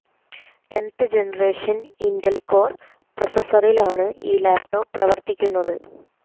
tenth generation Intel Core പ്രോസസ്സറിലാണ് ഈ laptop പ്രവർത്തിക്കുന്നത്